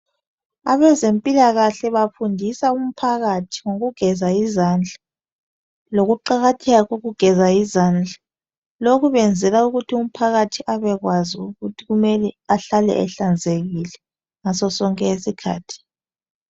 Abezempilakahle bafundisa umphakathi ngokugeza izandla lokuqakatheka kokugeza izandla. Lokhu benzela umphakathi abebkwazi ukuthi kumele ahlale ehlanzekile ngaso sonke isikhathi.